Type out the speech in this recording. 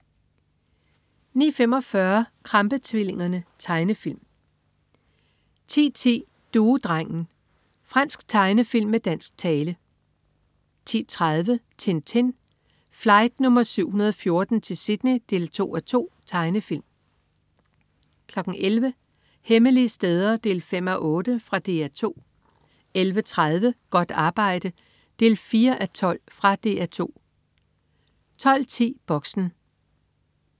09.45 Krampe-tvillingerne. Tegnefilm 10.10 Duedrengen. Fransk tegnefilm med dansk tale 10.30 Tintin. Flight nr. 714 til Sydney 2:2. Tegnefilm 11.00 Hemmelige steder 5:8. Fra DR 2 11.30 Godt arbejde 4:12. Fra DR 2 12.10 Boxen